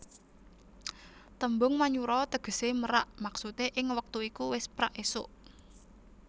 Tembung Manyura tegesé merak maksude ing wektu iku wis prak esuk